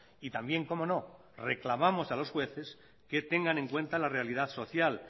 y también cómo no reclamamos a los jueces que tengan en cuenta la realidad social